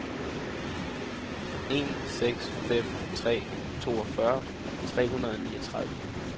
en seks fem tre toogfyrre tre hundrede og niogtredive